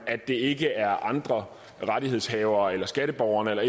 at det ikke er andre rettighedshavere eller skatteborgerne eller